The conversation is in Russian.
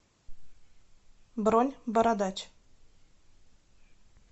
бронь бородач